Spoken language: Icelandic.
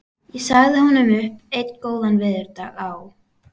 Ég sagði honum upp einn góðan veðurdag á